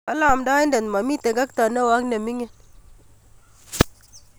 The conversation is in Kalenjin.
Kole omdoidet momi tekekto neo ak nemikin.